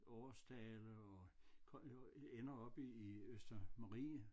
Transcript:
Årsdale og øh ender oppe i Østermarie